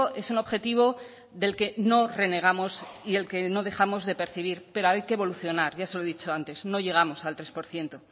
es un objetivo del que no renegamos y del que no dejamos de percibir pero hay que evolucionar ya se lo he dicho antes no llegamos al tres por ciento